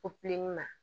O pilini na